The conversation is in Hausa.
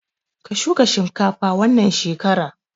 Ka shuka shinkafa wannan shekara!